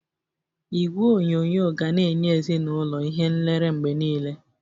Igwe onyonyo ga na-enye ezinaụlọ ihe nlere mgbe niile